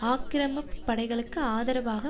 ஆக்கிரமிப்பு படைகளுக்கு ஆதரவாக